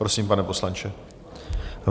Prosím, pane poslanče.